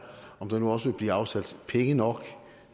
om der nu også vil blive afsat penge nok